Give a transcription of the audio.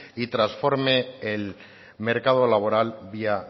y trasforme el mercado laboral vía